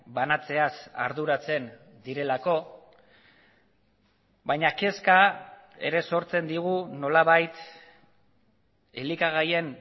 banatzeaz arduratzen direlako baina kezka ere sortzen digu nolabait elikagaien